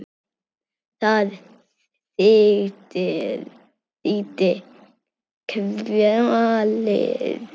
Það þýddi kvalir.